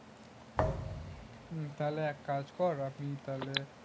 হম তাহলে এক কাজ কর আমি তাহলে